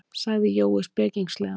sagði Jói spekingslega.